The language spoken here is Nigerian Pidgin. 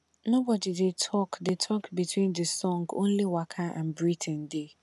nobody dey talk dey talk between the song only waka and breathing dey